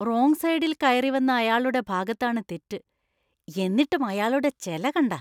Wrong സൈഡിൽ കയറി വന്ന അയാളുടെ ഭാഗത്താണ് തെറ്റ്; എന്നിട്ടും അയാളുടെ ചെല കണ്ടാ!